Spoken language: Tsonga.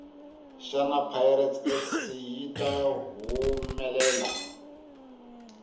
shana pirates fc yita hhumelela